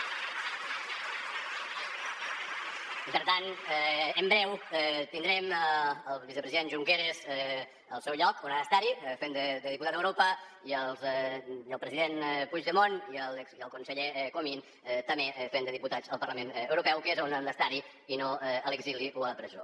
i per tant en breu tindrem el vicepresident junqueras al seu lloc on ha d’estar fent de diputat a europa i el president puigdemont i el conseller comín també fent de diputats al parlament europeu que és on han d’estar i no a l’exili o a la presó